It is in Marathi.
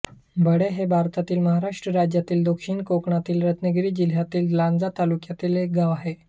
भडे हे भारतातील महाराष्ट्र राज्यातील दक्षिण कोकणातील रत्नागिरी जिल्ह्यातील लांजा तालुक्यातील एक गाव आहे